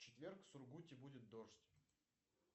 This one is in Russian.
в четверг в сургуте будет дождь